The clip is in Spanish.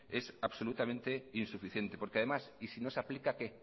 es absolutamente insuficiente porque además y si no se aplica qué